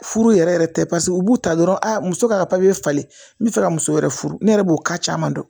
Furu yɛrɛ tɛ paseke u b'u ta dɔrɔn a muso ka falen n bɛ fɛ ka muso wɛrɛ furu ne yɛrɛ b'o ka caman dɔn